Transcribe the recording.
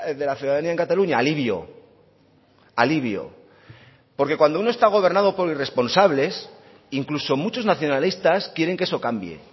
de la ciudadanía en cataluña alivio alivio porque cuando uno está gobernado por irresponsables incluso muchos nacionalistas quieren que eso cambie